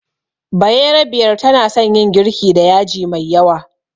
Bayerabiyar tana son yin girki da yaji mai yawa